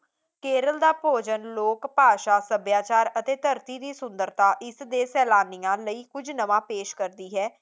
ਕੇਰਲ ਦਾ ਭੋਜਨ ਲੋਕ ਭਾਸ਼ਾ ਸਭਿਆਚਾਰ ਅਤੇ ਧਰਤੀ ਦੀ ਸੁੰਦਰਤਾ ਇਸ ਦੇ ਸੈਲਾਨੀਆਂ ਲਈ ਕੁਝ ਨਵਾਂ ਪੇਸ਼ ਕਰਦੀ ਹੈ